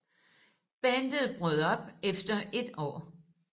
Bandet brød op efter et år